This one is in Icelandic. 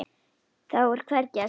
Þá er hvergi að sjá.